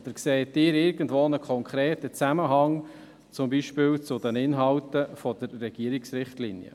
Oder sehen Sie irgendwo einen konkreten Zusammenhang, zum Beispiel zu den Inhalten der Regierungsrichtlinie?